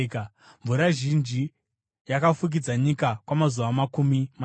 Mvura zhinji yakafukidza nyika kwamazuva makumi mashanu.